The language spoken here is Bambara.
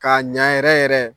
K'a ɲa yɛrɛ yɛrɛ